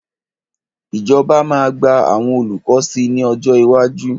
Ìjọba máa gba àwọn olùkọ́ sí ní ọjọ́ iwájú.